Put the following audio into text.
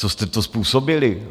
Co jste to způsobili?